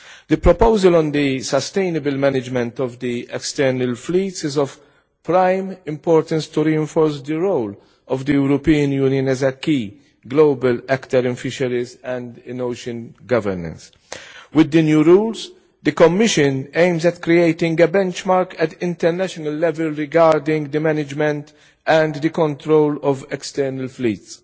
The proposal on the sustainable management of the external fleets is of prime importance to reinforce the role of the European Union as a key global actor in fisheries and in ocean governance. With the new rules, the Commission aims to create a benchmark at international level regarding the management and the control of external fleets.